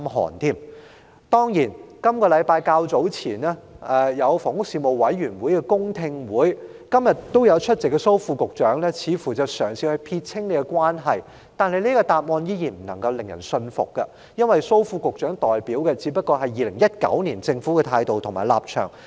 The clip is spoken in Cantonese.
房屋事務委員會在本周較早前舉行了公聽會，今天也有列席的蘇副局長當時嘗試撇清關係，但他的答案依然未能令人信服，因他所代表的只是政府2019年的態度及立場。